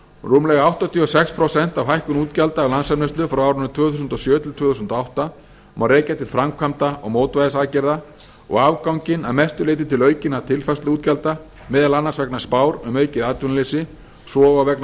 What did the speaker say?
rúmlega áttatíu og sex prósent af hækkun útgjalda af landsframleiðslu frá árinu tvö þúsund og sjö til tvö þúsund og átta má rekja til framkvæmda og mótvægisaðgerða og afganginn að mestu til aukinna tilfærsluútgjalda meðal annars vegna spár um aukið atvinnuleysi svo og vegna